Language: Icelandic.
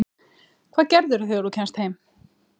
Hvað gerirðu þegar þú kemst heim?